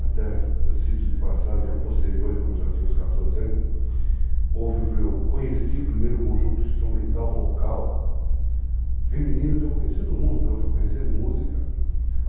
Até, cito de passagem, a posteriori, quando eu já tinha uns 14 anos, eu conheci o primeiro conjunto instrumental vocal feminino que eu conhecia do mundo, pelo que eu conhecia de música.